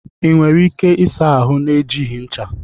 Ị nwere ike ịsa ahụ na-ejighị ncha?